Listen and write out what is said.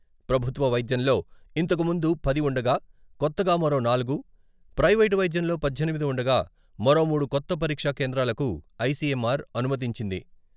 ప్రభుత్వ వైద్యంలో ఇంతకుముందు పది ఉండగా కొత్తగా మరో నాలుగు, ప్రైవేటు వైద్యంలో పద్దెనిమిది ఉండగా మరోమూడు కొత్త పరీక్ష కేంద్రాలకు ఐ.సి.ఎం.ఆర్. అనుమతించింది.